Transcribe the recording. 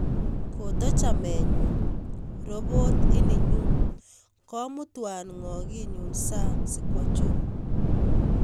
Kotochamenyun robot ininyun komutwan ngoginyun sang si kwo choo